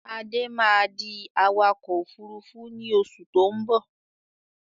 Adé máa di awakọ̀ Òfurufú ni oṣù tó ń bọ̀